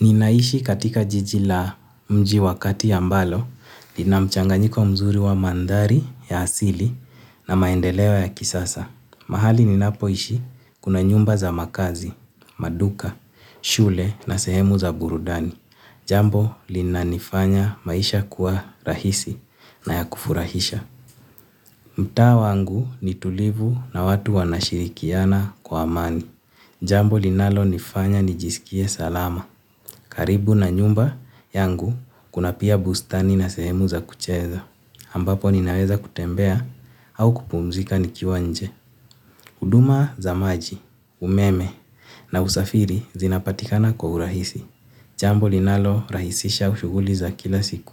Ninaishi katika jiji la mji wakati ambalo, lina mchanganyiko mzuri wa mandhari ya asili na maendeleo ya kisasa. Mahali ninapo ishi kuna nyumba za makazi, maduka, shule na sehemu za burudani. Jambo lina nifanya maisha kuwa rahisi na ya kufurahisha. Mtaa wangu ni tulivu na watu wanashirikiana kwa amani. Jambo linalo nifanya nijisikie salama. Karibu na nyumba yangu, kuna pia bustani na sehemu za kucheza. Ambapo nina weza kutembea au kupumzika nikiwa nje. Huduma za maji, umeme na usafiri zinapatikana kwa urahisi. Jambo linalo rahisisha shughuli za kila siku.